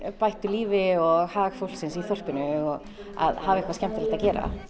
bættu lífi og hag fólksins í þorpinu og hafa eitthvað skemmtilegt að gera